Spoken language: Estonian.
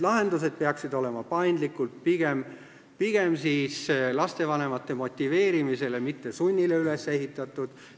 Lahendused peaksid olema paindlikud, pigem lastevanemate motiveerimisele, mitte sunnile üles ehitatud.